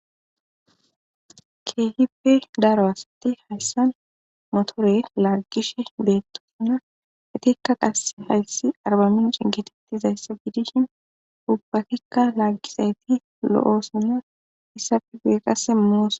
Kehipe daro asati haysan motere lagishe betosona itika qase haysi arbamiche gididaysa gidishin ubatika lagishe de,'osona